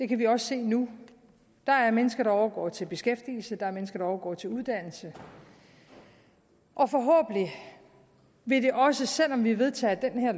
det kan vi også se nu der er mennesker der overgår til beskæftigelse der er mennesker der overgår til uddannelse og forhåbentlig vil det også selv om vi vedtager det her